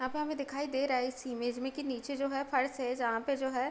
अब हमें दिखाई दे रहा है इस इमेज में कि नीचे जो है फर्श है जहाँ पे जो है --